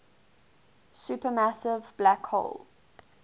supermassive black hole